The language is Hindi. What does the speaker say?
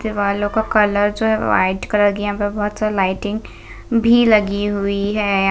दिवालो का कलर जो है वाइट कलर की है यहाँ पर बहोत सारी लाइटिंग भी लगी हुई है।